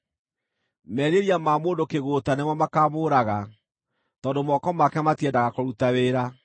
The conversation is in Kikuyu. Merirĩria ma mũndũ kĩgũũta nĩmo makaamũũraga, tondũ moko make matiendaga kũruta wĩra.